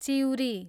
चिउरी